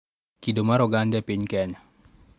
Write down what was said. Kido mar oganda e piny Kenya